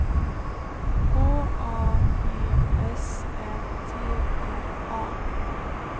H A G S Ä T R A